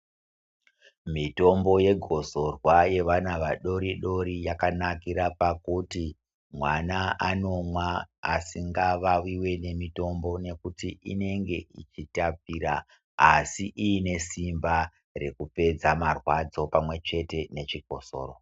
Mitombo ye gosorwa yevana vadori dori yaka nakira pakuti mwana anomwa asinga vawiwi ne mitombo nekuti inenge ichi tapira asi iine simba reku pedza marwadzo pamwe chete ne chikosoro.